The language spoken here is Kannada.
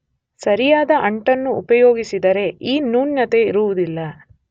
ಸರಿಯಾದ ಅಂಟನ್ನು ಉಪಯೋಗಿಸಿದರೆ ಈ ನ್ಯೂನ್ಯತೆ ಇರುವುದಿಲ್ಲ.